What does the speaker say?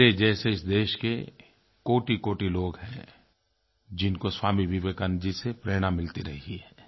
मेरे जैसे इस देश के कोटिकोटि लोग हैं जिनको स्वामी विवेकानंद जी से प्रेरणा मिलती रही है